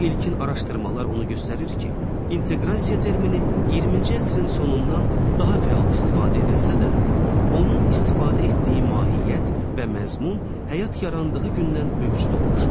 İlkin araşdırmalar onu göstərir ki, inteqrasiya termini 20-ci əsrin sonundan daha fəal istifadə edilsə də, onun istifadə etdiyi mahiyyət və məzmun həyat yarandığı gündən mövcud olmuşdur.